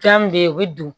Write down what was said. Fɛn min bɛ ye o bɛ don